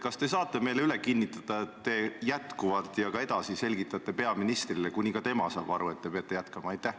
Kas te saate meile üle kinnitada, et te jätkuvalt ja ka edaspidi selgitate seda peaministrile, kuni ka tema saab aru, et te peate jätkama?